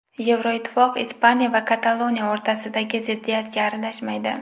Yevroittifoq Ispaniya va Kataloniya o‘rtasidagi ziddiyatga aralashmaydi.